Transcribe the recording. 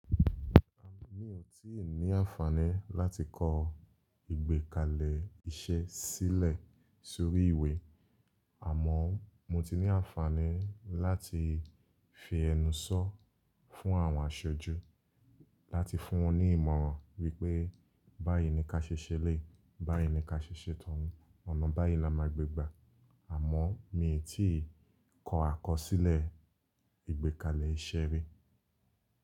À ni ò tíì ní àǹfààní láti kọ ìgbékàlẹ̀ iṣẹ́ sílẹ̀ sórí ìwé. Àmọ́ mo ti ní àǹfààní láti fi ẹnu sọ fún àwọn aṣojú, láti fún wọ́n ní ìmọ̀ràn wípé báyìí ni ka ṣe ṣẹlé, báyìí ni ka ṣe ṣẹ́tan, ọ̀nà báyìí ni a máa gbégbà, àmọ́ mi ò tíì kọ àkọsílẹ̀ ìgbékàlẹ̀ iṣẹ́ rí.